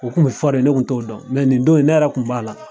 U kun bɛ fɔ de ne kun t'o dɔn nin don ne yɛrɛ kun b'a la.